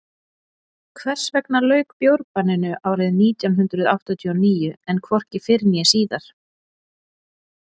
hvers vegna lauk bjórbanninu árið nítján hundrað áttatíu og níu en hvorki fyrr eða síðar